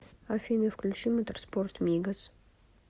афина включи моторспорт мигос